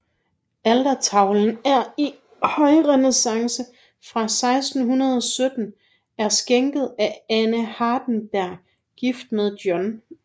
Altertavlen i højrenæssance fra 1617 er skænket af Anne Hardenberg gift med Joh